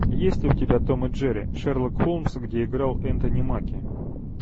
есть ли у тебя том и джерри шерлок холмс где играл энтони маки